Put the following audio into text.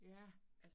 Ja